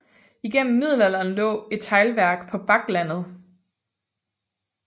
Igennem middelalderen lå det et teglværk på Bakklandet